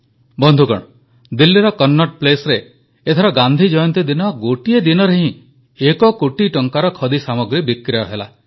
ବନ୍ଧୁଗଣ ଦିଲ୍ଲୀର କନ୍ନଟ୍ ପ୍ଲେସରେ ଏଥର ଗାନ୍ଧୀ ଜୟନ୍ତୀ ଦିନ ଗୋଟିଏ ଦିନରେ ହିଁ ଏକ କୋଟି ଟଙ୍କାର ଖଦି ସାମଗ୍ରୀ ବିକ୍ରୟ ହେଲା